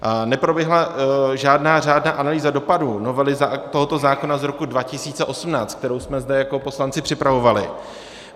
Neproběhla žádná řádná analýza dopadů novely tohoto zákona z roku 2018, kterou jsme zde jako poslanci připravovali.